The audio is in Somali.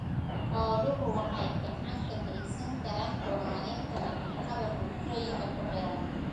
Xooluhu waxay gacan ka geysan karaan horumarinta nafaqada bulshooyinka ku xeeran.